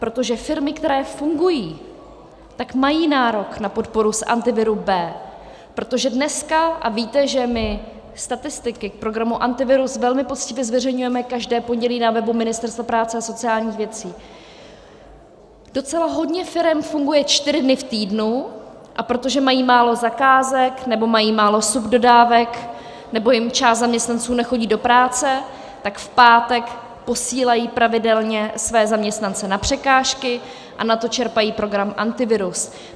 Protože firmy, které fungují, tak mají nárok na podporu z Antiviru B. Protože dneska - a víte, že my statistiky k programu Antivirus velmi poctivě zveřejňujeme každé pondělí na webu Ministerstva práce a sociálních věcí - docela hodně firem funguje čtyři dny v týdnu, a protože mají málo zakázek nebo mají málo subdodávek, nebo jim část zaměstnanců nechodí do práce, tak v pátek posílají pravidelně své zaměstnance na překážky a na to čerpají program Antivirus.